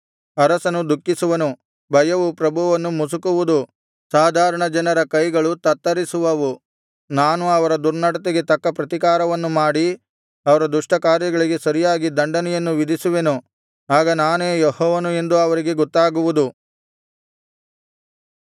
ಅರಸನು ದುಃಖಿಸುವನು ಭಯವು ಪ್ರಭುವನ್ನು ಮುಸುಕುವುದು ಸಾಧಾರಣಜನರ ಕೈಗಳು ತತ್ತರಿಸುವವು ನಾನು ಅವರ ದುರ್ನಡತೆಗೆ ತಕ್ಕ ಪ್ರತಿಕಾರವನ್ನು ಮಾಡಿ ಅವರ ದುಷ್ಟ ಕಾರ್ಯಗಳಿಗೆ ಸರಿಯಾಗಿ ದಂಡನೆಯನ್ನು ವಿಧಿಸುವೆನು ಆಗ ನಾನೇ ಯೆಹೋವನು ಎಂದು ಅವರಿಗೆ ಗೊತ್ತಾಗುವುದು